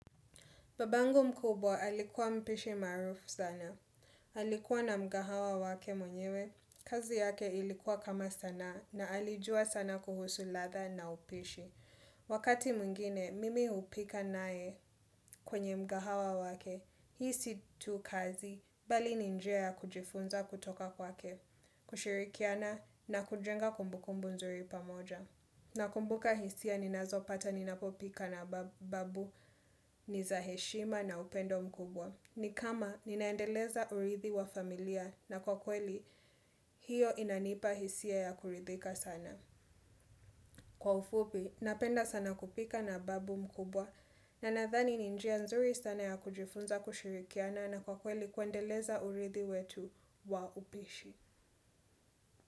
Babangu mkubwa alikuwa mpishi maarufu sana. Alikuwa na mkahawa wake mwenyewe. Kazi yake ilikuwa kama sanaa na alijua sana kuhusu latha na upishi. Wakati mwingine, mimi hupika naye kwenye mkahawa wake. Hii si tu kazi bali ni njia ya kujifunza kutoka kwake. Kushirikiana na kujenga kumbukumbu nzuri pamoja. Nakumbuka hisia ninazo pata ninapo pika na babu ni za heshima na upendo mkubwa. Ni kama ninaendeleza urithi wa familia na kwa kweli, hiyo inanipa hisia ya kurithika sana. Kwa ufupi, napenda sana kupika na babu mkubwa na nathani ni njia nzuri sana ya kujifunza kushirikiana na kwa kweli kuendeleza urithi wetu wa upishi.